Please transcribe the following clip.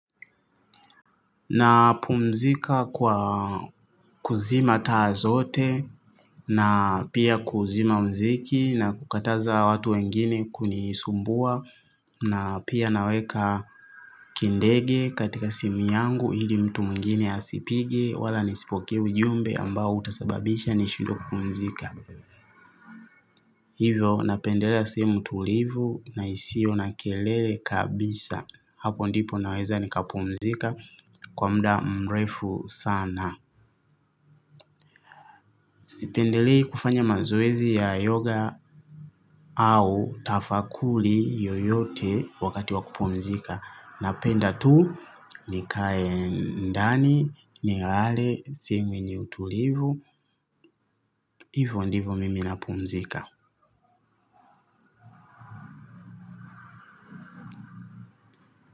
Na pumzika kwa kuzima taa zote na pia kuzima mziki na kukataza watu wengine kunisumbua na pia naweka kindege katika simu yangu hili mtu mwingine asipige wala nisipoke ujumbe ambao utasababisha nishindwe kupumuzika. Hivyo napendelea simu tulivu na hisio na kelele kabisa hapo ndipo naweza nikapumuzika kwa muda mrefu sana. Sipendelei kufanya mazoezi ya yoga au tafakuli yoyote wakati wakupumzika. Napenda tu nikaye ndani, nilale, simu yenye utulivu, hivyo ndivyo mimi napumzika.